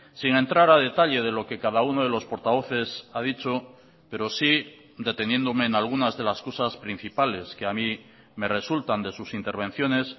sin entrar a detalle de lo que cada uno de los portavoces ha dicho pero sí deteniéndome en algunas de las cosas principales que a mí me resultan de sus intervenciones